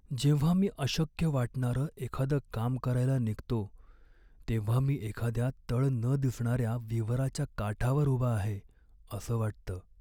जेव्हा मी अशक्य वाटणारं एखादं काम करायला निघतो तेव्हा मी एखाद्या तळ न दिसणाऱ्या विवराच्या काठावर उभा आहे असं वाटतं.